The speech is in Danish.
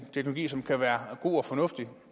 teknologi som kan være god og fornuftig